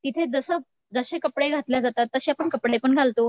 तिथे जसं जसे कपडे घातल्या जातात तशे आपण कपडे पण घालतो.